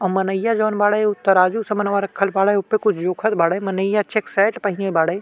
अ मनइया जौन बाड़े उ तराजू समन्वा रखल बाड़े उपे कुछ जोखत बाड़े। मनइया चेक शर्ट पहिने बाड़े।